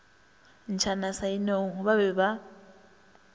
ntšhana sa inong ba be